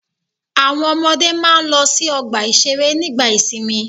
Àwọn ọmọdé máa ń lọ sí ọgbà-ìṣeré nígbà ìsìnmi.